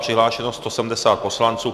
Přihlášeno 170 poslanců.